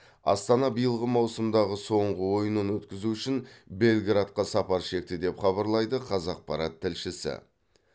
астана биылғы маусымдағы соңғы ойынын өткізу үшін белградқа сапар шекті деп хабарлайды қазақпарат тілшісі